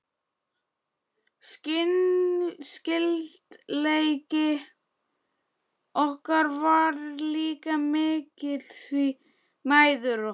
Skyldleiki okkar var líka mikill, því mæður okkar